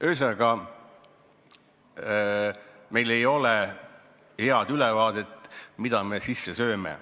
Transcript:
Ühesõnaga, meil ei ole head ülevaadet, mida me sisse sööme.